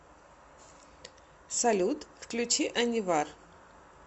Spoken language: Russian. салют включи анивар